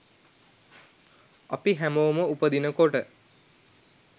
අපි හැමෝම උපදිනකොට